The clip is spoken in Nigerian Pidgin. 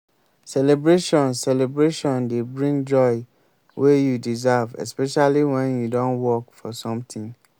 celebration celebration dey bring joy wey you deserve especially when you don work for something